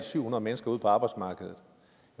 syv hundrede mennesker ud på arbejdsmarkedet